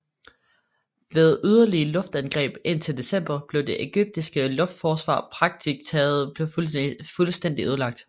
Ved yderligere luftangreb indtil december blev det ægyptiske luftforsvar praktisk taget fuldstændigt ødelagt